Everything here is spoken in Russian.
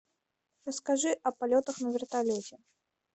расскажи о полетах на вертолете